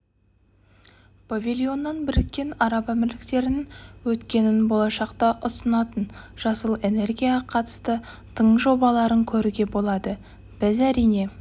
павильоннан біріккен араб әмірліктерінің өткенін болашақта ұсынатын жасыл энергияға қатысты тың жобаларын көруге болады біз әрине